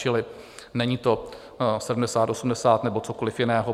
Čili není to 70, 80, nebo cokoliv jiného.